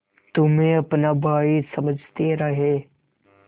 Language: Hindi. तुम्हें अपना भाई समझते रहे